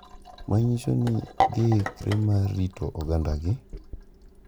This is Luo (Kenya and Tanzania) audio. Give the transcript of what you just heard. Manyiso ni giikre mar rito ogandagi.